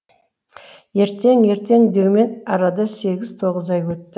ертең ертең деумен арада сегіз тоғыз ай өтті